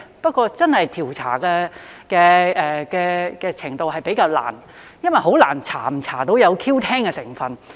不過，調查真是比較難，因為很難調查是否有 Q10 的成分。